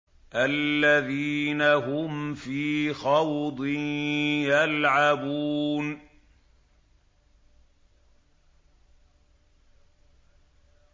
الَّذِينَ هُمْ فِي خَوْضٍ يَلْعَبُونَ